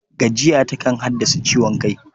Gajiya takan haddasa ciwon kai.